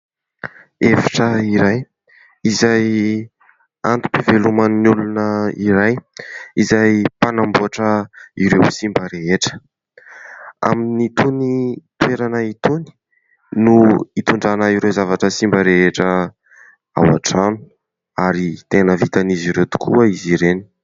Efitra iray, izay antom-piveloman'ny olona iray, izay mpanamboatra ireo simba rehetra, amin'itony toerana itony no hitondrana ireo zavatra simba rehetra ao antrano ary tena vitan'izy ireo tokoa izy ireny.